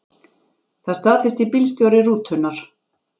Það staðfesti bílstjóri rútunnar.